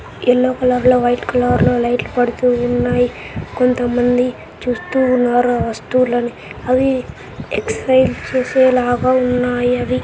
Yellow colour లో white colour లో పైన లైట్స్ పడుతూ ఉన్నాయి కొంత మంది చూస్తూ ఉన్నారు వాస్తవులను అవి ఎక్సర్సైస్ చేసే లాగా ఉన్నాయి అవి.